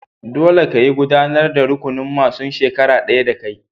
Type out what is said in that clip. Dolle, ka yi gudanar da rukunin masun shekara daya da kai!